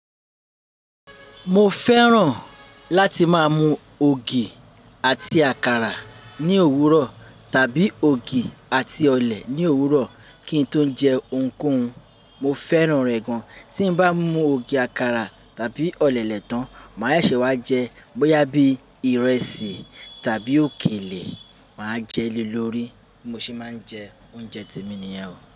Mo fẹ́ràn láti máa mu ògì àti àkàrà ní òwúrọ̀ tàbí ògì àti ọ̀lẹ̀ ní òwúrọ̀ kí n tó jẹ ohunkóhun. Mo fẹ́ràn rẹ̀ gan. Tí n bá mu ògì àkàrà tàbí ọ̀lẹ̀lẹ́ tàn, màá seṣe wá jẹ bóyá bí ìrẹsì tàbí òkèlè, màá jẹ le lórí. Mo se máa ń jẹ oúnjẹ ti mi nìyẹn o.